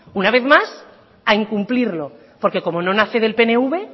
una vez más a incumplirlo porque como no nace del pnv